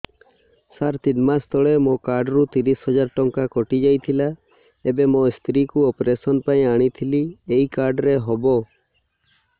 ସାର ତିନି ମାସ ତଳେ ମୋ କାର୍ଡ ରୁ ତିରିଶ ହଜାର ଟଙ୍କା କଟିଯାଇଥିଲା ଏବେ ମୋ ସ୍ତ୍ରୀ କୁ ଅପେରସନ ପାଇଁ ଆଣିଥିଲି ଏଇ କାର୍ଡ ରେ ହବ